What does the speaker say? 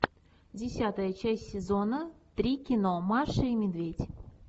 десятая часть сезона три кино маша и медведь